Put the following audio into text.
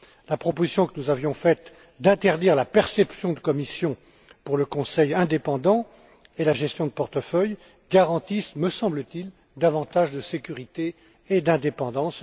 La proposition que nous avions faite d'interdire la perception de commissions pour le conseil indépendant et la gestion de portefeuilles garantit, me semble t il, davantage de sécurité et d'indépendance.